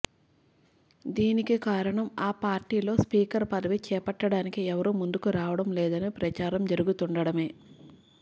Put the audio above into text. దీనికి కారణం ఆ పార్టీలో స్పీకర్ పదవి చేపట్టడానికి ఎవరూ ముందుకు రావడం లేదని ప్రచారం జరుగుతుండడమే